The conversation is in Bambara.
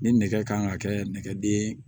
Ni nɛgɛ kan ka kɛ nɛgɛdeen ye